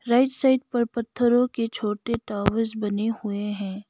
Right side पर पत्थरों के छोटे टॉवर्स बने हुएं हैं।